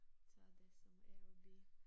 Så er det som A og B